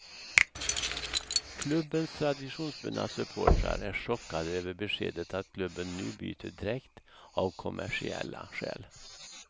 Klubbens traditionsbundna supportrar är chockade över beskedet att klubben nu byter dräkt av kommersiella skäl.